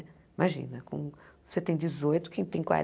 Imagina, com você tem dezoito, quem tem